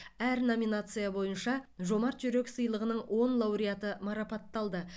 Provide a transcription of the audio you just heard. әр номинация бойынша жомарт жүрек сыйлығының он лауреаты марапатталды